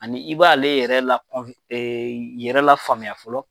Ani i b'a ale yɛrɛ la e yɛrɛ lafaamuya fɔlɔ.